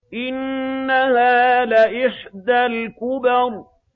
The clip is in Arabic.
إِنَّهَا لَإِحْدَى الْكُبَرِ